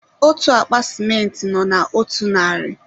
otú akpa sịmentị nọ na otu narị